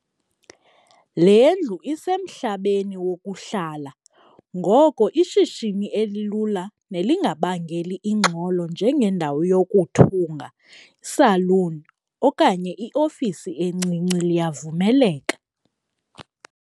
Le ndlu isemhlabeni wokuhlala ngoko ishishini elilula nelingabangeli ingxolo njengendawo yokuthunga, salon okanye iofisi encinci liyavumeleka.